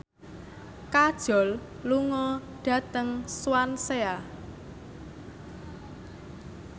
Kajol lunga dhateng Swansea